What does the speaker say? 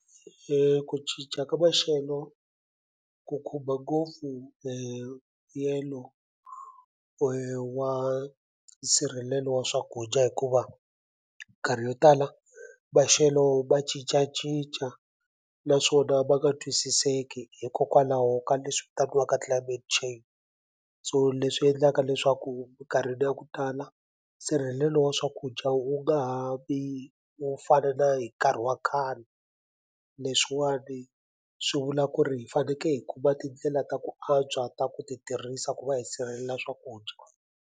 Ku cinca ka maxelo ku khumba ngopfu mbuyelo wa nsirhelelo wa swakudya hikuva nkarhi yo tala maxelo ma cincacinca naswona ma nga twisiseki hikokwalaho ka leswi vitaniwaka climate change so leswi endlaka leswaku minkarhini ya ku tala nsirhelelo wa swakudya wu nga ha vi wo fana na hi nkarhi wa khale leswiwani swi vula ku ri hi faneke hi ku va tindlela ta ku antswa ta ku ti tirhisa ku va hi sirhelela swakudya.